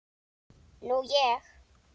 Nú ég.